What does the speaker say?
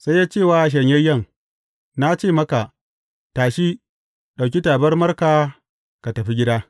Sai ya ce wa shanyayyen, Na ce maka, tashi, ɗauki tabarmarka ka tafi gida.